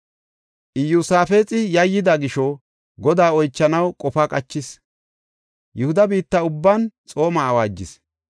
Iyosaafexi yayyida gisho Godaa oychanaw qofa qachis; Yihuda biitta ubban xooma awaajis.